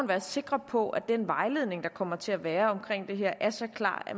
være sikker på at den vejledning der kommer til at være om det her er så klar at